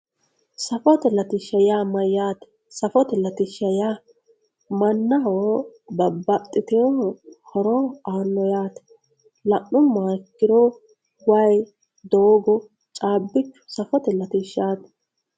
saffote latisha yaa mayatte safotte latishi yaa manaho babaxitewo horo anoho yatte lanumoha ikiro wayyi dogo cabichu saffote latishati